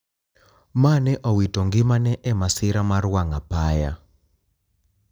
Ma ne owito ngimane e masira mar wang` apaya.